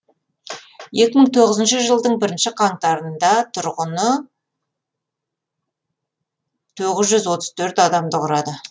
екі мың тоғызыншы жылдың бірінші қаңтарында тұрғыны тоғыз жүз отыз төрт адамды құрады